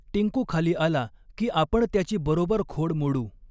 टिंकू खाली आला, की आपण त्याची बरॊबर खॊड मॊडू.